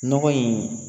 Nɔgɔ in